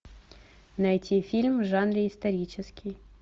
найти фильм в жанре исторический